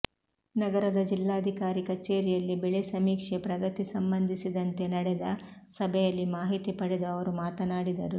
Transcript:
ನಗರದ ಜಿಲ್ಲಾಧಿಕಾರಿ ಕಚೇರಿಯಲ್ಲಿ ಬೆಳೆ ಸಮೀಕ್ಷೆ ಪ್ರಗತಿ ಸಂಬಂಧಿಸಿದಂತೆ ನಡೆದ ಸಭೆಯಲ್ಲಿ ಮಾಹಿತಿ ಪಡೆದು ಅವರು ಮಾತನಾಡಿದರು